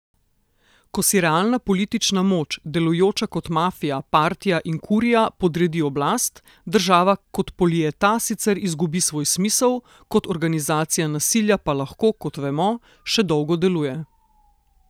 Ko si realna politična moč, delujoča kot mafija, partija in kurija, podredi oblast, država kot politeia sicer izgubi svoj smisel, kot organizacija nasilja pa lahko, kot vemo, še dolgo deluje.